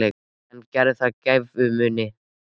En gerði það gæfumuninn?